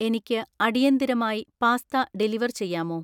എനിക്ക് അടിയന്തിരമായി pasta deliver ചെയ്യാമോ?